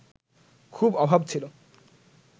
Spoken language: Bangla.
খুব অভাব ছিল